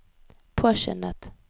påskyndet